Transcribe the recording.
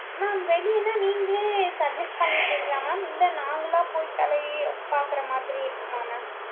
mam வெளியன்னா நீங்களே suggest பண்ணிடுவீங்களா mam இல்லை நாங்களா போய் தலையி~ பார்க்கிற மாதிரி இருக்குமா mam